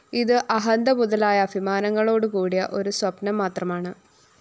ഇത് അഹന്ത മുതലായ അഭിമാനങ്ങളോടുകൂടിയ ഒരു സ്വപ്നം മാത്രമാണ്